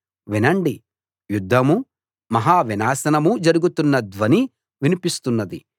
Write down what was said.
వినండి యుద్ధమూ మహా వినాశనమూ జరుగుతున్న ధ్వని వినిపిస్తున్నది